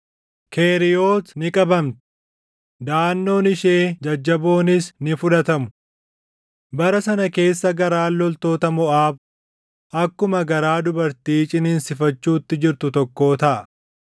Keriiyooti ni qabamti; daʼannoon ishee jajjaboonis ni fudhatamu. Bara sana keessa garaan loltoota Moʼaab akkuma garaa dubartii ciniinsifachuutti jirtu tokkoo taʼa.